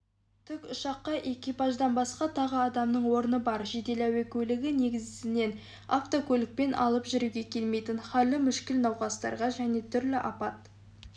тікұшаққа экипаждан басқа тағы адамның орны бар жедел әуе көлігі негізінен автокөлікпен алып жүруге келмейтін халі мүшкіл науқастарға және түрлі апат